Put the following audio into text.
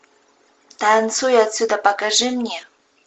танцуй отсюда покажи мне